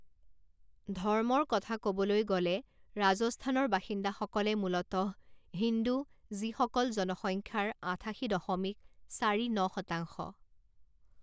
ধৰ্মৰ কথা ক'বলৈ গ'লে ৰাজস্থানৰ বাসিন্দাসকল মূলতঃ হিন্দু, যিসকল জনসংখ্যাৰ আঠাশী দশমিক চাৰি ন শতাংশ।